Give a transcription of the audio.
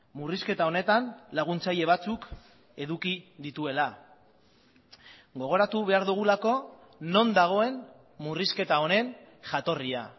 murrizketa honetan laguntzaile batzuk eduki dituela gogoratu behar dugulako non dagoen murrizketa honen jatorria